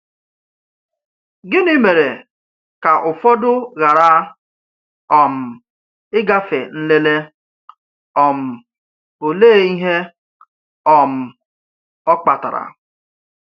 Gịnị mere ka ụfọdụ ghara um ịgafe nlele, um òlee ihe um ọ kpatara?